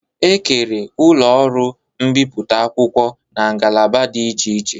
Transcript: E kere ụlọ ọrụ mbiputa akwụkwọ n'ngalaba dị iche iche